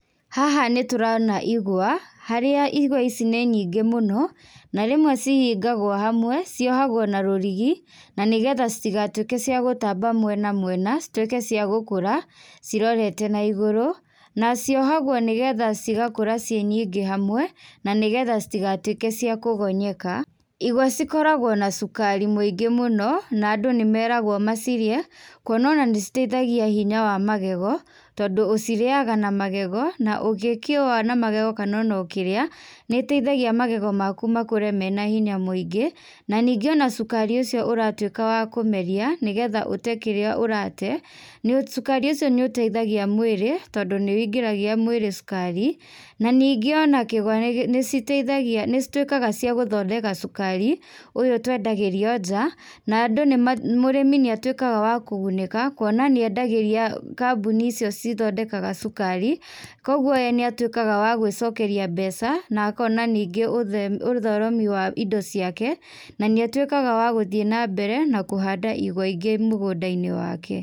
Haha nĩtũrona igwa, harĩa igwa ici nĩ nyingĩ mũno, na rĩmwe cihingagwo hamwe, ciohagwo na rũrigi, na nĩgetha citigatuĩke cia gũtamba mwena mwena, cituĩke cia gũkũra cirorete naigũrũ. Na ciohagwo nĩgetha cigakũra ciĩ nyingĩ hamwe, na nĩgetha citigatuĩke cia kũgonyeka. Igwa cikoragwo na cukari mũingĩ mũno, na andũ nĩmeragwo macirĩe, kuona ona nĩ citeithagia hinya wa magego, tondũ ũcirĩaga na magego, na ũgĩkĩũa na magego kana ũkĩrĩa, nĩgĩteithagia magego maku makũre mena hinya mũingĩ. Na ningĩ ona cukari ũcio ũratuĩka wa kũmeria nĩgetha ũte kĩrĩa ũrate, nĩ cukari ũcio nĩũteithagia mwĩrĩ, tondũ nĩwĩingĩragia mwĩrĩ cũkari. Na ningĩ ona kĩgwa nĩciteithagia, nĩcituĩkaga cia gũthondeka cukari, ũyũ twendagĩrio nja, na andũ nĩ, mũrĩmi nĩatuĩkaga wa kũgunĩka, kuona nĩendagĩria kambũni icio cithondekaga cukari. Koguo ye nĩatuĩkaga wa gwĩcokeria mbeca, na akona ningĩ ũtheremi wa indo ciake, na nĩatuĩkaga wa gũthiĩ na mbere na kũhanda igwa ingĩ mũgũnda-inĩ wake.